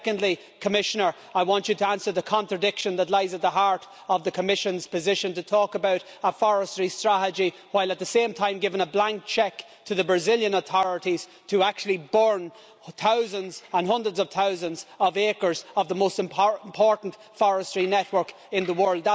Secondly, Commissioner, I want you to answer the contradiction that lies at the heart of the Commission's position in talking about a forestry strategy while at the same time giving a blank cheque to the Brazilian authorities to burn thousands, and hundreds of thousands, of acres of the most important forestry network in the world.